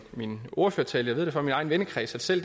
min ordførertale ved jeg fra min egen vennekreds at selv